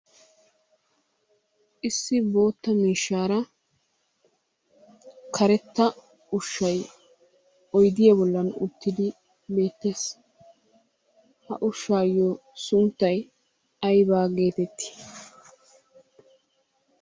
Issi boottaa miishshaara karettaa ushay oydiya bollan uttidi beettees, ha ushshayo sunttay ayba geettetti?